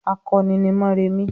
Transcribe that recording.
"Akọni ni Mórèmí!"